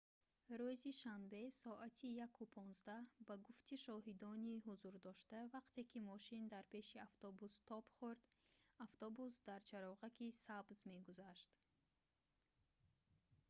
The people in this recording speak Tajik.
рӯзи шанбе соати 1:15 ба гуфти шоҳидони ҳузурдошта вақте ки мошин дар пеши автобус тоб хурд автобус дар чароғаки сабз мегузашт